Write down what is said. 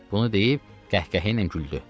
Bunu deyib qəhqəhə ilə güldü.